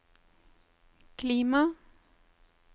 klima